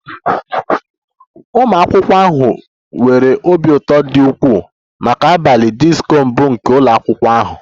Ụmụ akwụkwọ ahụ nwere obi ụtọ dị ukwuu maka abalị disko mbụ nke ụlọ akwụkwọ ahụ